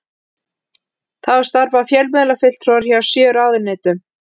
Þá starfa fjölmiðlafulltrúar hjá sjö ráðuneytum